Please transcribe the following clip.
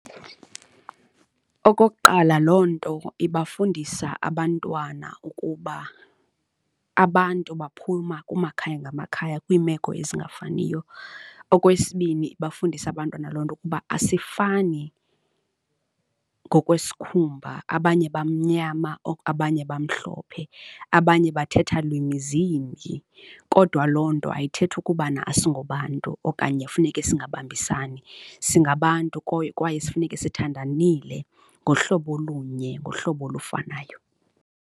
Okokuqala, loo nto iba bafundisa abantwana ukuba abantu baphuma kumakhaya ngamakhaya kwiimeko ezingafaniyo. Okwesibini, ibafundise abantwana loo nto ukuba asifani ngokwesikhumba, abanye bamnyama, abanye bumhlophe, abanye bathetha lwimi zimbi. Kodwa loo nto ayithethi ukubana asingobantu okanye funeke singabambisani, singabantu kwaye sifuneke sithandanile ngohlobo olunye, ngohlobo olufanayo.